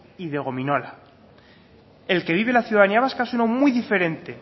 y de gominola el que vive la ciudadanía vasca es un o muy diferente